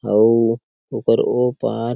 अउ ओकर ओ पार--